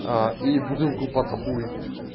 а и бутылку под хуй